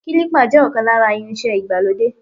Kílípà jẹ́ ọ̀kan lára irinṣẹ́ ìgbàlódé.